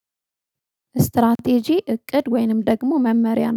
እስትራቴጂ እቅድ ወይንም ደግሞ መመሪያ ነው